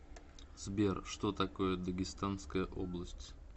сбер что такое дагестанская область